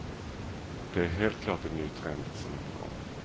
Det är helt klart en ny trend som är på gång.